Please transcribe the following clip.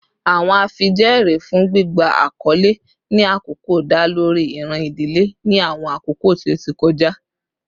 Awọn afijẹẹri fun gbigba akọle ni akọkọ da lori iran idile ni awọn akoko ti o ti kọja